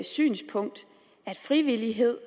synspunkt at frivillighed